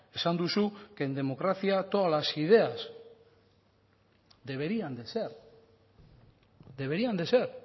esan duzu que en democracia todas las ideas deberían de ser deberían de ser